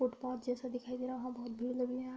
footpath जैसा दिखाई दे रहा है | वहाँ बहुत भीड़ लगी हुई है |